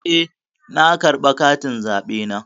Eh, na karɓa katin zaɓena.